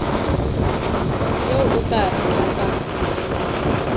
eo o ka e tlatsang